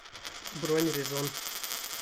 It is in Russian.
бронь резон